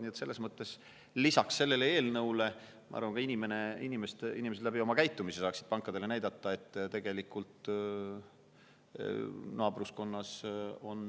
Nii et selles mõttes, lisaks sellele eelnõule, ma arvan, ka inimesed oma käitumisega pankadele näitaksid, et naabruskonnas on